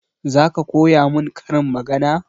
Zaka koya mun karin magana?